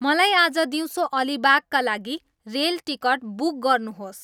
मलाई आज दिउँसो अलिबागका लागि रेल टिकट बुक गर्नुहोस्